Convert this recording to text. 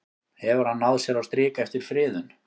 Hefur hann náð sér á strik eftir friðun?